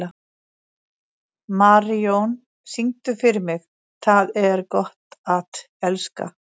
Marijón, syngdu fyrir mig „Tað er gott at elska“.